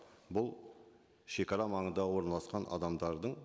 бұл шегара маңында орналасқан адамдардың